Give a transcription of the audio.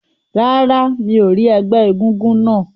Rárá, mi ò rí ẹgbẹ́ egúngún náà.